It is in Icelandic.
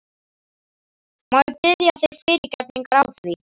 Má ég biðja þig fyrirgefningar á því?